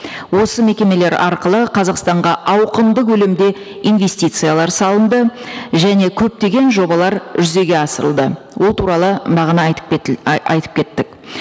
осы мекемелер арқылы қазақстанға ауқымды көлемде инвестициялар салынды және көптеген жобалар жүзеге асырылды ол туралы бағана айтып айтып кеттік